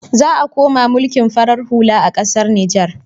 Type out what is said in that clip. Za ayi koma mulkin farar hula na ƙasar Niger.